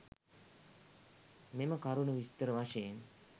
මෙම කරුණු විස්තර වශයෙන්